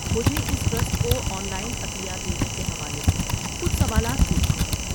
مجھے اس ٹرسٹ کو آن لائن عطیات دینے کے حوالے سے کچھ سوالات پوچھنے ہیں۔